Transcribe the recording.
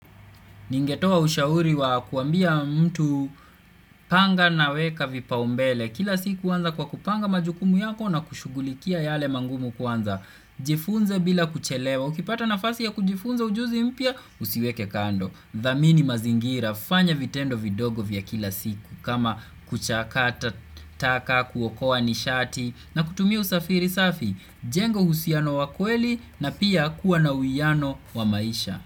Ningetoa ushauri wa kuambia mtu panga naweka vipaumbele. Kila siku anza kwa kupanga majukumu yako, na kushughulikia yale mangumu kwanza. Jifunze bila kuchelewa. Ukipata nafasi ya kujifunza ujuzi mpya, usiwekekando. Dhamini mazingira, fanya vitendo vidogo vya kila siku. Kama, kuchakata taka, kuwokoa nishati. Na kutumia usafiri safi, jenga uhusiano wa kweli na pia kuwa na uwiano wa maisha.